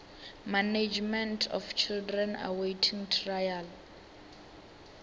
management of children awaiting trial